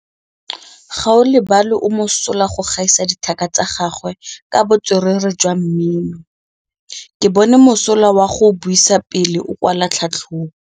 Gaolebalwe o mosola go gaisa dithaka tsa gagwe ka botswerere jwa mmino. Ke bone mosola wa go buisa pele o kwala tlhatlhobô.